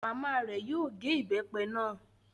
Màmá rẹ̀ yóò gé ìbépe náà